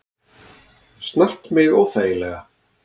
Snart mig óþægilega.